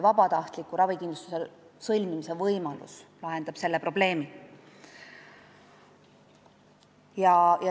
Vabatahtliku ravikindlustuslepingu sõlmimise võimalus lahendab selle probleemi.